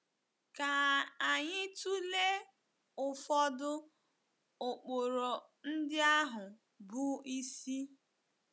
Ka anyị tụlee ụfọdụ ụkpụrụ ndị ahụ bụ́ isi.